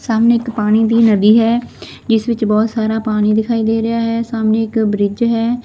ਸਾਹਮਣੇ ਇੱਕ ਪਾਣੀ ਦੀ ਨਦੀ ਹੈ ਜਿਸ ਵਿੱਚ ਬਹੁਤ ਸਾਰਾ ਪਾਣੀ ਦਿਖਾਈ ਦੇ ਰਿਹਾ ਹੈ ਸਾਹਮਣੇ ਇੱਕ ਬ੍ਰਿਜ ਹੈ।